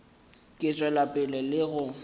ka tšwela pele le go